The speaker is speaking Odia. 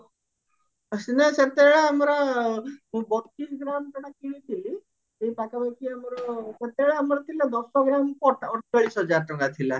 ସିନା ସେତେବେଳେଆମର ମୁଁ ବତିଶ ଗ୍ରାମ ସେଟା କିଣିଥିଲି ଏଇ ପାଖା ପାଖି ଆମର ସେତେବେଳେ ଆମର ଥିଲା ଦଶ ଗ୍ରାମକୁ ଅଡଚାଳିଶ ହଜାର ଟଙ୍କା ଥିଲା